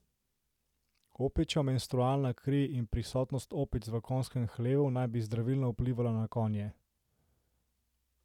Opičja menstrualna kri in prisotnost opic v konjskem hlevu naj bi zdravilno vplivala na konje.